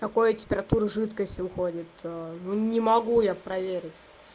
какой температуры жидкость уходит ну не могу я проверить